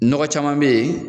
Nɔgɔ caman be yen